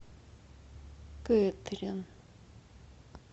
кэтрин